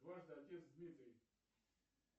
дважды отец дмитрий